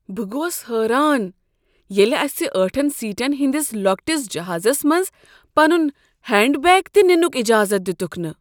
بہٕ گوس حٲران ییٚلہ اسہ ٲٹھن سیٹن ہٕندِس لۄکٹس جہازس منٛز پنن ہینڈ بیگ تِہ ننک اجازت دِتُکھ نہٕ۔